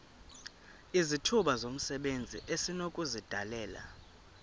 izithuba zomsebenzi esinokuzidalela